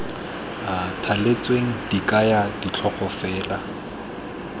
thaletsweng di kaya ditlhogo fela